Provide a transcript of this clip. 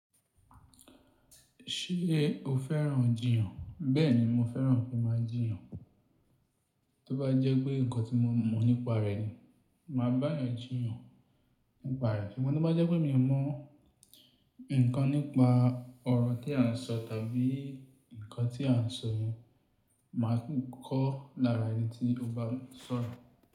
Ṣé o fẹ́ràn jiyàn? Bẹ́ẹ̀ni mo fẹ́ràn fí má jiyàn. Tó bá jẹ́ pé nǹkan tí mo mọ̀ nípa rẹ ni, màá bá ẹ jiyàn nípa rẹ. Ṣùgbón tó bá jẹ́ pé mi o mọ̀ nǹkan nípa ọ̀rọ̀ tí à ń sọ tàbí nǹkan tí à ń sọ yẹn, màá kọ́ lára ẹni tí o bá ń sọ̀rọ̀.